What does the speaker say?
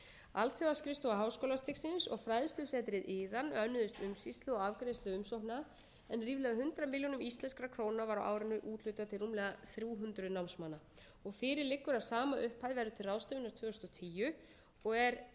alþjóðaskrifstofa háskólastigsins og fræðslusetrið iðan önnuðust umsýslu og afgreiðslu umsókna en ríflega hundrað milljónum íslenskra króna var á árinu úthlutað til rúmlega þrjú hundruð námsmanna fyrir liggur að sama upphæð verður til ráðstöfunar árið tvö þúsund og tíu og er